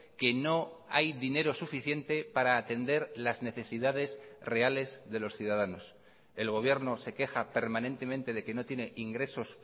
que no hay dinero suficiente para atender las necesidades reales de los ciudadanos el gobierno se queja permanentemente de que no tiene ingresos